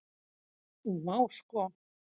Og vá sko.